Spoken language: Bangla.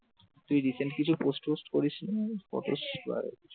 তুই recent কিছু post ফহস্ত করিস নি?